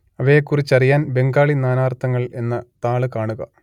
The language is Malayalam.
അവയെക്കുറിച്ചറിയാൻ ബംഗാളി നാനാർത്ഥങ്ങൾ എന്ന താൾ കാണുക